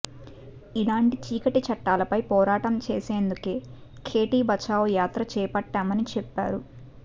ఇలాంటి చీకటి చట్టాలపై పోరాటం చేసేందుకే ఖేటీ బచావో యాత్ర చేపట్టామని చెప్పారు